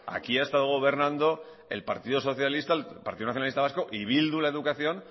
aquí ha estado gobernando el partido socialista el partido nacionalista vasco y bildu la educación